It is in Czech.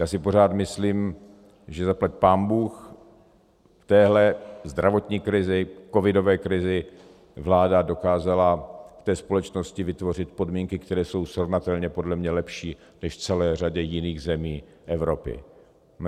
Já si pořád myslím, že zaplať pánbůh v téhle zdravotní krizi, covidové krizi, vláda dokázala v té společnosti vytvořit podmínky, které jsou srovnatelně podle mě lepší než v celé řadě jiných zemí Evropy.